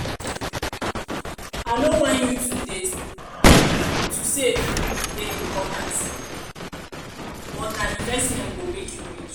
i no whine you to save dey important but nah investment go make you rich.